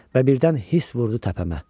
Və birdən hiss vurdu təpəmə.